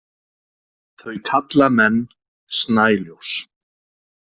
Þau kalla menn snæljós.